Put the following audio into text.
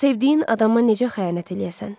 Sevdiyin adama necə xəyanət eləyəsən?